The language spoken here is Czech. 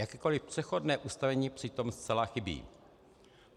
Jakékoliv přechodné ustanovení přitom zcela chybí.